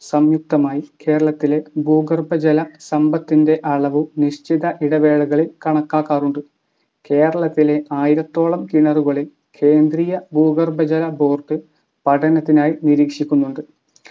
സംയുക്തമായി കേരളത്തിലെ ഭൂഗർഭ ജല സമ്പത്തിൻ്റെ അളവും നിശ്ചിത ഇടവേളകളിൽ കണക്കാക്കാറുണ്ട്. കേരളത്തിലെ ആയിരത്തോളം കിണറുകളിൽ കേന്ദ്രീയ ഭൂഗർഭ ജല board പഠനത്തിനായി നിരീക്ഷിക്കുന്നുണ്ട്.